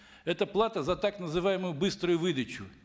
это плата за так называемую быструю выдачу